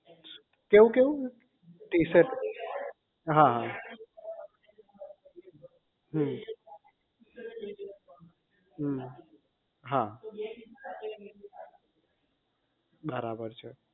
કેવું કેવું હા હા હમ હમ હા બરાબર છે